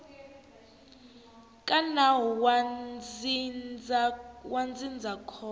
ka nawu wa ndzindzakhombo ra